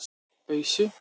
Ausu